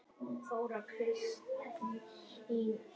Börn, sem ekki hafa náð skólaaldri, eru í hirðuleysi í götuforinni.